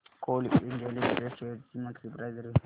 Coal India Limited shares ची monthly price range